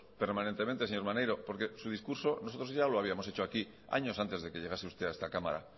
señor maneiro porque su discurso nosotros ya lo habíamos hecho aquí años antes de que llegase usted a esta cámara